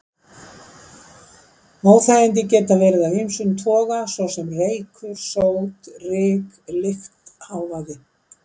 Óþægindi geta verið af ýmsum toga, svo sem reykur, sót, ryk, lykt, hávaði.